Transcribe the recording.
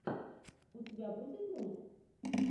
у тебя будет мульт